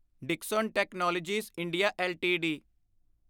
Dixon Technologies India LTD